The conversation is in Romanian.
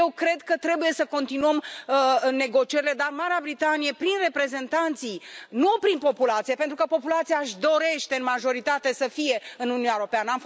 Eu cred că trebuie să continuăm negocierile, dar Marea Britanie, prin reprezentanți nu prin populație, pentru că populația își dorește în majoritate să fie în Uniunea Europeană